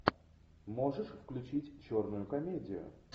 можешь включить черную комедию